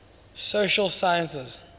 social sciences